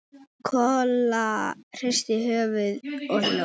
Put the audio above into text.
Kolla hristi höfuðið og hló.